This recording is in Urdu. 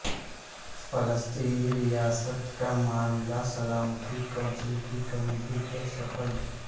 فلسطینی ریاست کا معاملہ سلامتی کونسل کی کمیٹی کے سپرد